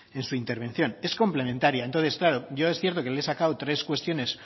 en su intervención es complementaria entonces claro yo es cierto que le he sacado tres cuestiones